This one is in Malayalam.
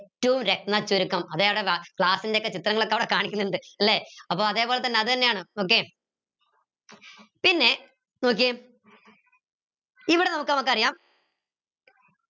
class ൻ്റെ ഒക്കെ ചിത്രങ്ങളൊക്കെ അവിടെ കനിക്കിന്നിണ്ട് ലെ അപ്പോ അതേപോലെതന്നെ അതെന്നയാണ് okay പിന്നെ നോക്കിയേ ഇവിടെ നോക്ക നമുക്കറിയാം